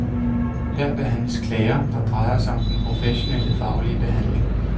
Her behandles klager, der drejer sig om den professionelle, faglige behandling.